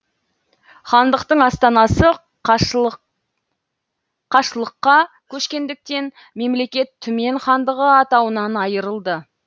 хандықтың астанасы қашлыққа көшкендіктен мемлекет түмен хандығы атауынан айырылды